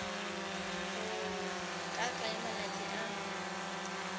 go ka tsaya malatsi a